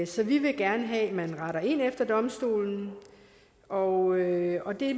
så vi vil gerne have at man retter ind efter domstolen og og det